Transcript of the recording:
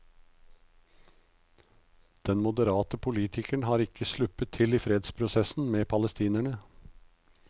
Den moderate politikeren har ikke sluppet til i fredsprosessen med palestinerne.